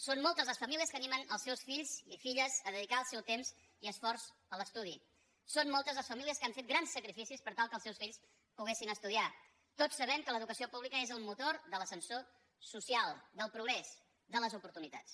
són moltes les famílies que animen els seus fills i filles a dedicar el seu temps i esforç a l’estudi són moltes les famílies que han fet grans sacrificis per tal que els seus fills poguessin estudiar tots sabem que l’educació pública és el motor de l’ascensor social del progrés de les oportunitats